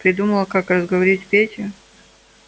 придумал как разговорить петю